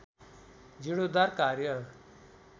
जीर्णोद्धार कार्य